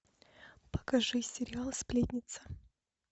покажи сериал сплетница